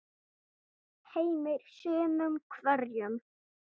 Heimir: Sumum hverjum?